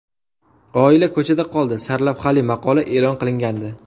Oila ko‘chada qoldi” sarlavhali maqola e’lon qilingandi.